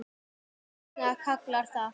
Pálsson kallar það.